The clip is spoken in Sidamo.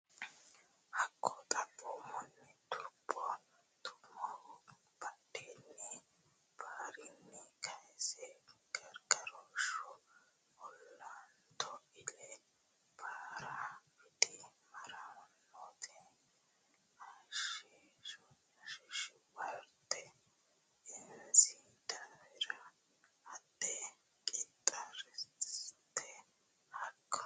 Hakko Xaphoomunni Turbo Tummohu baadonna barrinni kayse Gargarooshshu Olanto ille baara widi maaraatoonete heeshshosi worte inosi daafira haadhe qaxartusi Hakko.